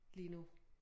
Lige nu